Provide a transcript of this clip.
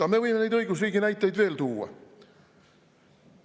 Aga me võime neid õigusriigi näiteid veel tuua.